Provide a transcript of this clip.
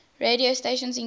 radio stations include